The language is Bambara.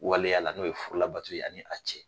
Waleya la n'o ye furu labato ye ani a cɛ